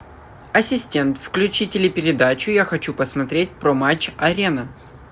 ассистент включи телепередачу я хочу посмотреть про матч арена